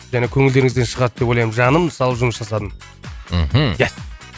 және көңілдеріңізден шығады деп ойлаймын жанымды салып жұмыс жасадым мхм есть